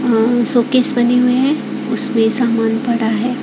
आ showcase बने हुए हैं उसमें सामान पड़ा है।